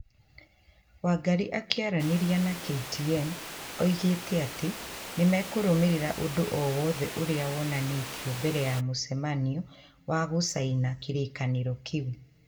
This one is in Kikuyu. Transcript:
Wangarĩ akiĩaranĩria na KTN augĩte atĩ "Nĩ mekũrũmĩraĩra ũndũ o wothe ũrĩa wonanĩtio mbere ya mũcemanio wa gũcaina kĩrĩkanĩro kĩu.